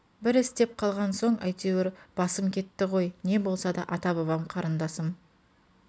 бір істеп қалған соң әйтеуір басым кетті ғой не де болса ата-бабам қарындасым